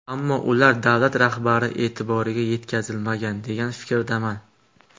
Ammo ular davlat rahbari e’tiboriga yetkazilmagan, degan fikrdaman.